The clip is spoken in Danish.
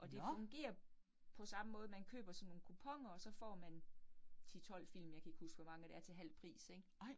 Og det fungerer på samme måde, man køber sådan nogle kuponer, og så får man 10 12 film, jeg kan ikke huske, hvor mange det er til halv pris ik